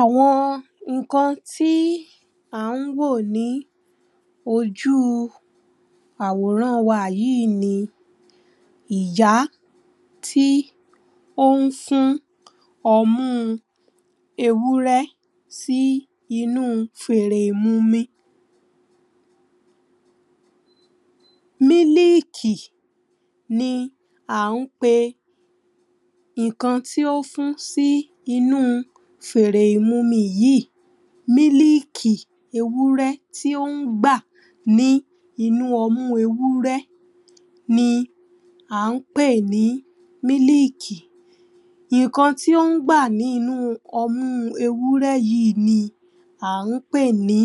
Àwọn nǹkan tí à ń wò ní ojú àwòràn wa yìí ni ìyá tí ó ń fún ọmú ewúrẹ́ sí inú fèrè ìmumí mílíkì ni à ń pe nǹkan tí ó ń fún sí inú fèrè ìmumi yíì mílíkì ewurẹ́ tí ń gbà ní inú ọmú ewurẹ́ ni à ń pè ní mílíìkì nǹkan tí ó ń gbà ní inú ọmú ewúrẹ́ yíì ni à ń pè ní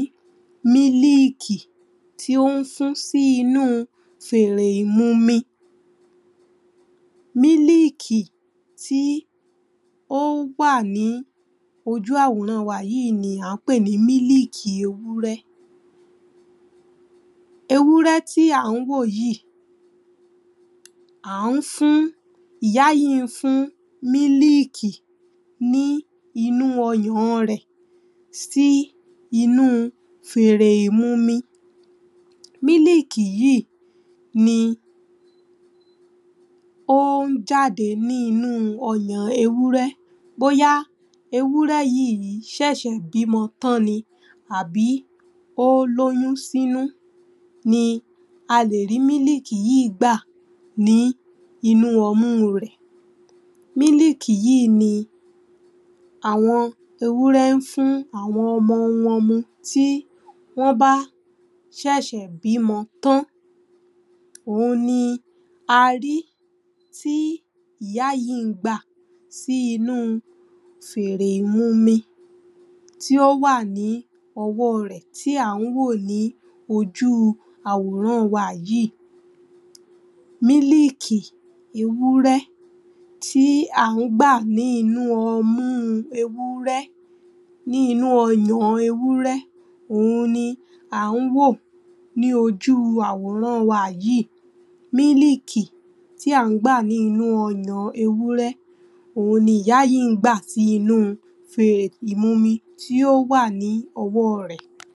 mííìkì tí ń fún sí inú fèrè ìmumi mílíìkì tí ó wà ní ojú àwòràn wa yìí ni à ń pè ní mílíìkì ewúrẹ́ ewúrẹ́ tí à ń wò yìí ìyá yìí ń fún mílíìkì nínú ọyàn rẹ̀ sí inú fèrè ìmumi mílíìkì yìí ni ó ń jáde nínú ọyàn ewúrẹ́ bóyá ewúrẹ́ yìí ṣẹ̀ṣẹ̀ bímọ tan ni àbí ó lóyún sínú ni a lè rí mílíìkì yìí gbà nínú ọmú rẹ̀ mílíìkì yìí ni àwọn ewúrẹ́ ń fún ọmọ wọn mú tí wọ́n bá ṣẹ̀ṣẹ̀ bí ọmọ wọn tán òun ni a rí tí ìyá yìí ń gbà sí inú fèrè ìmumi tí ó wà ní ọwọ́ rẹ̀ tí ó wà ní ojú àwòràn wa yìí mílíìkì ewúrẹ́ tí à ń gbà ní inú ọmú ewúrẹ́ ní inú ọyàn ewúrẹ́ òun ni à ń wò ní ojú àwòràn wa yìí mílíìkì tí à ń gbà ní inú ọyàn ewúrẹ́ òun ni ìyá yìí ń gbà sí inú fèrè ìmumi tí ó wà ní ọwọ́ rẹ̀